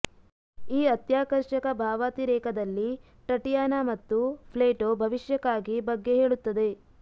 ಈ ಅತ್ಯಾಕರ್ಷಕ ಭಾವಾತಿರೇಕದ ರಲ್ಲಿ ಟಟಿಯಾನಾ ಮತ್ತು ಪ್ಲೇಟೋ ಭವಿಷ್ಯಕ್ಕಾಗಿ ಬಗ್ಗೆ ಹೇಳುತ್ತದೆ